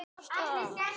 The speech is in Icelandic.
Heim, já.